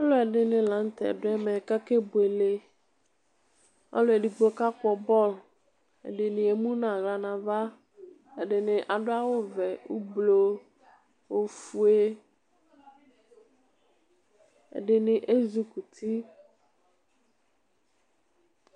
Alʋɛ dini lanʋtɛ dʋ ɛmɛ kʋ akɛ buele ɔlʋ edigbo kapkɔ bɔlʋ ɛdini emunu aɣla nʋ ava ɛdini adʋ awʋvɛ ʋblɔ ofue ɛdini ezɩ kɔ uti